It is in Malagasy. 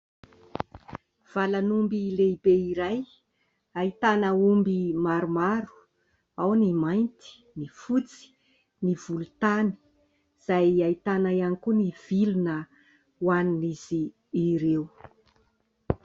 Valan'omby lehibe iray ahitana omby maromaro, ao ny mainty, ny fotsy, ny volontany, izay ahitana ihany koa ny vilona hoanin'izy ireo.